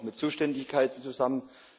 Das hängt auch mit Zuständigkeiten zusammen.